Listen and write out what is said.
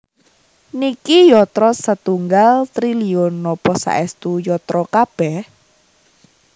Niki yatra setunggal triliun napa saestu yatra kabeh?